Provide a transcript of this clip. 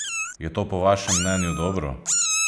Je to po vašem mnenju dobro?